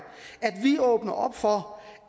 at vi åbner op for